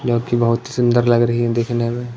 इस इमेज़ में एक बहोत सुन्दर जगह नजर आ रही है।